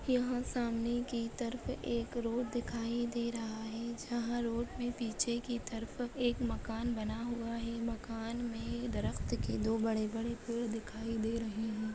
यहा सामने की तरफ एक रोड दीखाई दे रहा है। जहा रोड के पीछे की तरफ मकान बना हुआ है। मकान में दरक्त के दो बड़े बड़े पेड़ दिखाई दे है।